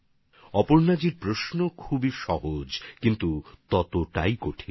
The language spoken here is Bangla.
অপর্ণাজির প্রশ্ন অনেক সহজ কিন্তু ততটাই কঠিন